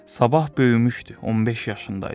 Sabah böyümüşdü, 15 yaşında idi.